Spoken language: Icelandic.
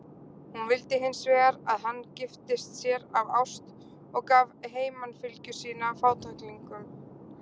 Hún vildi hins vegar að hann giftist sér af ást og gaf heimanfylgju sína fátæklingum.